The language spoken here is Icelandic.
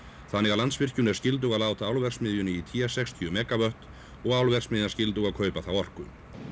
þannig að Landsvirkjun er skyldug að láta álverksmiðjunni í té sextíu megavött og álverksmiðjan skyldug að kaupa þá orku